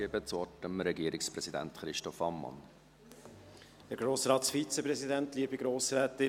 Ich gebe das Wort dem Regierungspräsidenten, Christoph Ammann.